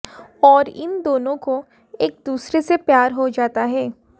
और इन दोनो को एक दुसरे से प्यार हो जाता है